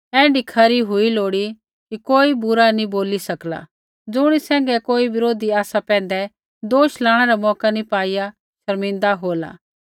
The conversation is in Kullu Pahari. होर ऐण्ढै खरा हुआ लोड़ी कि कोई बुरा नैंई बोली सकला ज़ुणी सैंघै कोई बरोधी आसा पैंधै दोष लाणै रा मौका नी पाईआ शर्मिन्दा होला